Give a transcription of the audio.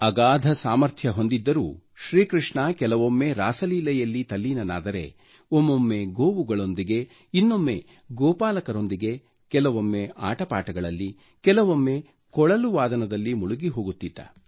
ಅಗಾಧ ಸಾಮರ್ಥ್ಯ ಹೊಂದಿದ್ದರೂ ಶ್ರೀಕೃಷ್ಣ ಕೆಲವೊಮ್ಮೆ ರಾಸಲೀಲೆಯಲ್ಲಿ ತಲ್ಲೀನನಾದರೆ ಒಮ್ಮೊಮ್ಮೆ ಗೋವುಗಳೊಂದಿಗೆ ಇನ್ನೊಮ್ಮೆ ಗೋಪಾಲಕರೊಂದಿಗೆ ಕೆಲವೊಮ್ಮೆ ಆಟಪಾಠಗಳಲ್ಲಿ ಕೆಲವೊಮ್ಮೆ ಕೊಳಲು ವಾದನದಲ್ಲಿ ಮುಳುಗಿಹೋಗುತ್ತಿದ್ದ